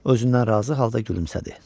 Özündən razı halda gülümsədi.